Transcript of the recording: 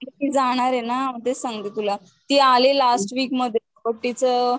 ती जाणारे ना मग तेच सांगते तुला, ती आली लास्ट वीक मध्ये तीच